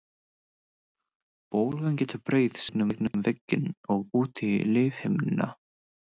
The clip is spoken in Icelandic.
Bólgan getur breiðst gegnum vegginn og út í lífhimnuna.